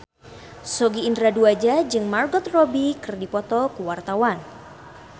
Sogi Indra Duaja jeung Margot Robbie keur dipoto ku wartawan